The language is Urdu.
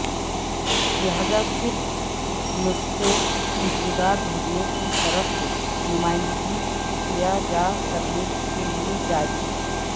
لہذا صرف نسخے خوشبودار بھرنے کی طرف سے نمائندگی کیا جا کرنے کے لئے جاری